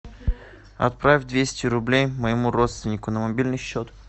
отправь двести рублей моему родственнику на мобильный счет